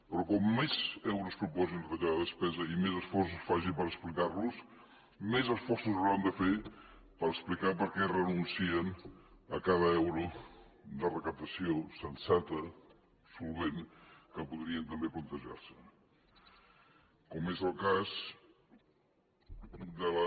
però com més euros proposin de retallada de despesa i més esforços facin per explicar ho més esforços hauran de fer per explicar per què renuncien a cada euro de recaptació sensata solvent que podrien també plantejar se com és el cas de la